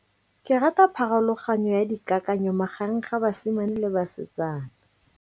Ke rata pharologanyo ya dikakanyo magareng ga basimane le basetsana.